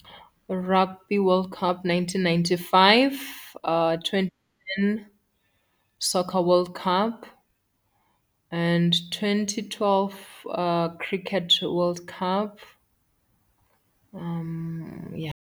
Rugby World Cup nineteen ninety-five, twenty ten Soccer World Cup and twenty twelve Cricket World Cup, yha.